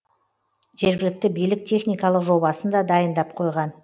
жергілікті билік техникалық жобасын да дайындап қойған